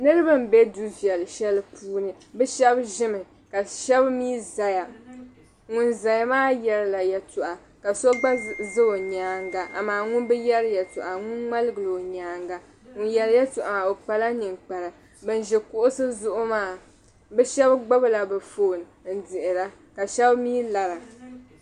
Niriba m-be du' viɛl' shɛli puuni. Bɛ shɛba ʒimi ka shɛba mi zaya. Ŋun zaya maa yɛrila yɛltɔɣa ka so gba za o nyaaŋga amaa ŋum bi yɛri yɛltɔɣa ŋun ŋmaligila o nyaaŋga. Ŋun yɛri yɛltɔɣa maa o kpala niŋkpara. Ban ʒi kuɣisi zuɣu maa bɛ shɛba gbibila bɛ foon ka shɛba mi lara.